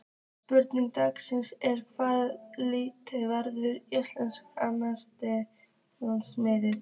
Spurning dagsins er: Hvaða lið verður Íslandsmeistari?